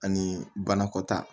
Ani banakɔtaa